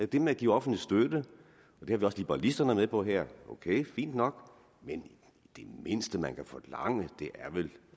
det med at give offentlig støtte har vi også liberalisterne med på her det er fint nok men det mindste man kan forlange er vel